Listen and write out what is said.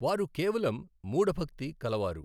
వారు కేవలం మూఢ భక్తి కలవారు.